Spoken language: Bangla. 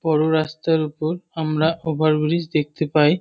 বড় রাস্তার ওপর আমরা ওভার ব্রিজ দেখতে পাই।